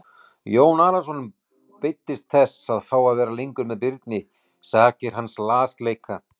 Jón Arason beiddist þess að fá að vera lengur með Birni sakir hans lasleika.